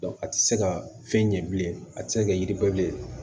a tɛ se ka fɛn ɲɛ bilen a tɛ se ka kɛ yiribɔ bilen